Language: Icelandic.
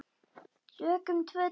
Tökum tvö dæmi